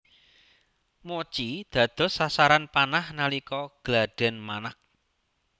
Mochi dados sasaran panah nalika gladhen manag